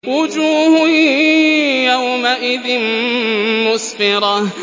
وُجُوهٌ يَوْمَئِذٍ مُّسْفِرَةٌ